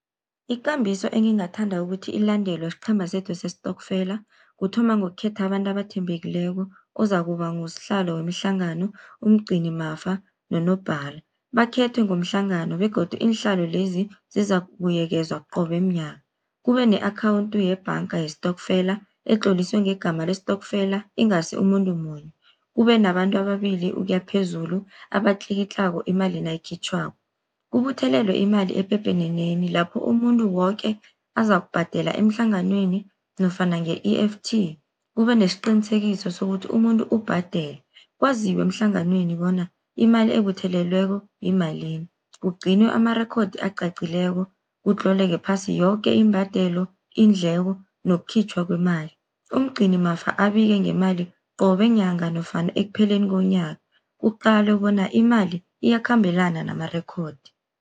Ikambiso engingathanda ukuthi ilandelwe siqhema sethu sestokfela. Kuthoma ngokukhetha abantu abathembekileko, ozakuba ngusihlalo wemihlangano, umgcinimafa nonobhala, bakhethwe ngomhlangano begodu iinhlalo lezi zizakubuyekezwa qobe mnyaka. Kube ne-akhawunthu yebhanga yestokfela, etloliswe ngegama lestokfela ingasi umuntu munye. Kube nabantu ababili ukuya phezulu abatlikitlako imali nayikhitjhwako. Kubuthelelwe imali epepeneneni lapho umuntu woke azakubhadela emhlanganweni nofana nge-E_F_T, kube nesiqinisekiso sokuthi umuntu ubhadele. Kwaziwe emhlanganweni bona imali ebuthelelweko yimalini, kugcinwe amarekhodi acacileko kutloleke phasi yoke imbadelo, iindleko nokukhitjhwa kwemali. Umgcinimafa abike ngemali qobe nyanga nofana ekupheleni konyaka, kuqalwe bona imali iyakhambelana namarekhodi.